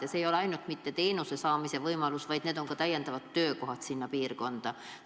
Ja jutt ei ole ainult teenuse saamise võimalusest, vaid jutt on ka täiendavatest töökohtadest seal piirkonnas.